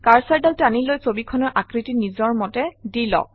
কাৰ্চৰডাল টানি লৈ ছবিখনৰ আকৃতি নিজৰ মতে দি লওক